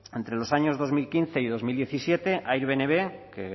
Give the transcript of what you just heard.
entre los años dos mil quince y dos mil diecisiete airbnb que